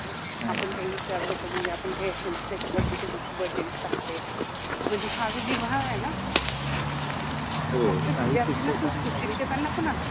अच्छा, आपन काहि विचारल तर म्हनजे आपन काहि असेल त्याच्या बर्थडे च्या दिवशि बर्थडे विश टाकते म्हनजे हा जो जिव्हाळा आहे न हो